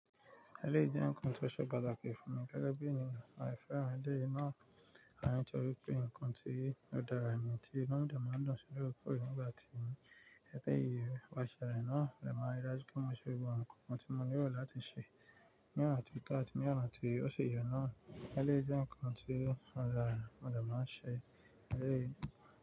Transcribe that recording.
Ẹléyi jẹ́ nǹkan tó ṣe pàtàkì fún mi gẹ́gẹ́ bí ènìyàn. Àwọn ẹlẹ́yi nà ìfẹ̀họ́ntí àwọn ẹlẹ́wọ̀n tí ó dára nìyẹn tí olùdámọ̀ máa ń dún sí orúkọ rẹ̀ nígbà tí ẹ̀ka ìyè wà ṣẹ̀ rẹ̀ náà lè máa rí i lájú kí wọ́n ṣe gbogbo nǹkan tí wọ́n nílò láti ṣe. Ní ọ̀nà tió to, ati ní ọ̀ràn tó ṣe yọ náà, ẹ lé jẹ́ nǹkan tí olùdámọ̀ máa ń ṣe.